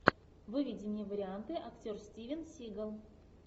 выведи мне варианты актер стивен сигал